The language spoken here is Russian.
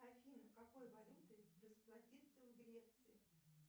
афина какой валютой расплатиться в греции